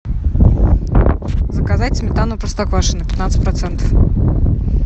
заказать сметану простоквашино пятнадцать процентов